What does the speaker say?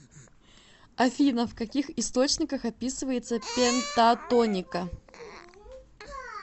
афина в каких источниках описывается пентатоника